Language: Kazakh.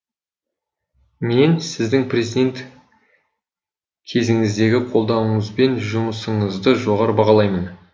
мен сіздің президент кезіңіздегі қолдауыңыз бен жұмысыңызды жоғары бағалаймын